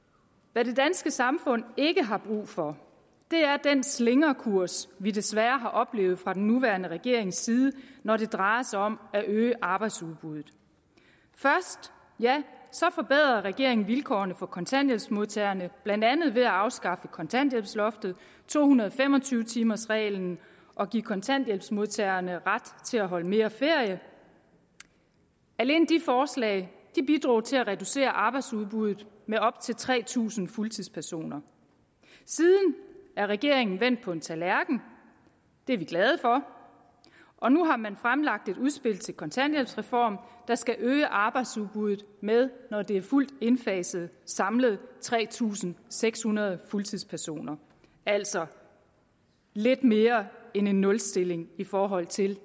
hvad det danske samfund ikke har brug for er den slingrekurs vi desværre har oplevet fra den nuværende regerings side når det drejer sig om at øge arbejdsudbuddet først ja så forbedrede regeringen vilkårene for kontanthjælpsmodtagerne blandt andet ved at afskaffe kontanthjælpsloftet og to hundrede og fem og tyve timersreglen og give kontanthjælpsmodtagerne ret til at holde mere ferie alene de forslag bidrog til at reducere arbejdsudbuddet med op til tre tusind fuldtidspersoner siden er regeringen vendt på en tallerken det er vi glade for og nu har man fremlagt et udspil til kontanthjælpsreform der skal øge arbejdsudbuddet med når det er fuldt indfaset samlet tre tusind seks hundrede fuldtidspersoner altså lidt mere end en nulstilling i forhold til